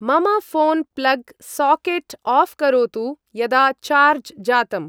मम phone plug socket off करोतु, यदा चार्ज् जातम्।